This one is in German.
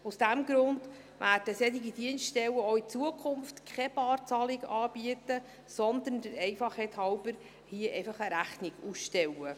Aus diesem Grund werden solche Dienststellen auch in Zukunft keine Barzahlungen anbieten, sondern der Einfachheit halber hier einfach eine Rechnung ausstellen.